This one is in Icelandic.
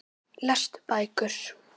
Lestu bækur.